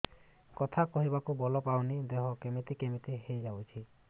କଥା କହିବାକୁ ବଳ ପାଉନି ଦେହ କେମିତି କେମିତି ହେଇଯାଉଛି